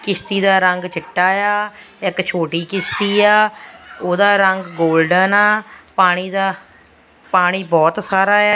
ਕਿਸ਼ਤੀ ਦਾ ਰੰਗ ਚਿੱਟਾ ਆ ਇੱਕ ਛੋਟੀ ਕਿਸ਼ਤੀ ਆ ਉਹਦਾ ਰੰਗ ਗੋਲਡਨ ਆ ਪਾਣੀ ਦਾ ਪਾਣੀ ਬਹੁਤ ਖਾਰਾ ਆ।